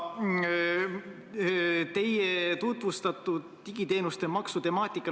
Teie käsitlesite digiteenuste maksu temaatikat.